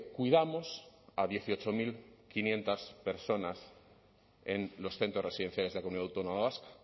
cuidamos a dieciocho mil quinientos personas en los centros residenciales de la comunidad autónoma vasca